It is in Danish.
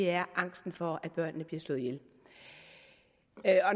er angsten for at børnene bliver slået ihjel